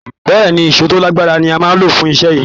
Bẹ́ẹ̀́ẹ̀ ni, èṣó tó lágbára ni a máa lò fún iṣẹ́ yín